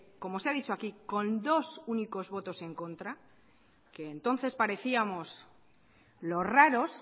como se ha dicho aquí con dos únicos votos en contra entonces parecíamos los raros